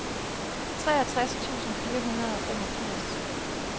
treogtres tusind fire hundrede og femogfirs